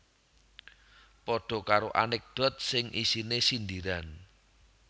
Padha karo anekdot sing isine sindiran